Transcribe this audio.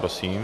Prosím.